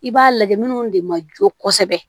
I b'a lajɛ minnu de ma jɔ kosɛbɛ